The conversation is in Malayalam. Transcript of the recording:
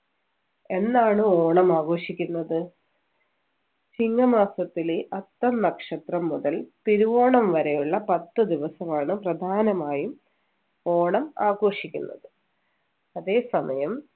എന്നാണ് ഓണം ആഘോഷിക്കുന്നത് ചിങ്ങ മാസത്തിലെ അത്തം നക്ഷത്രം മുതൽ തിരുവോണം വരെയുള്ള പത്തു ദിവസമാണ് പ്രധാനമായും ഓണം ആഘോഷിക്കുന്നത് അതെ സമയം